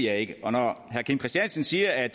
jeg ikke herre kim christiansen siger at